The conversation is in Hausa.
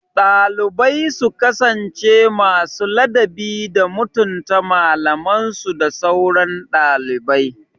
Dalibai su kasance masu ladabi da mutunta malamansu da sauran ɗalibai